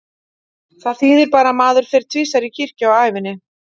Það þýðir bara að maður fer tvisvar í kirkju á ævinni.